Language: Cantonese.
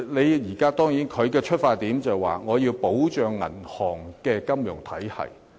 當然，金管局的出發點，是要保障銀行金融體系。